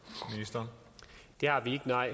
der er